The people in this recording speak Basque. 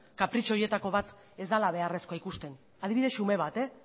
kapritxo horietako bat ez dela beharrezkoa ikusten adibide xume bat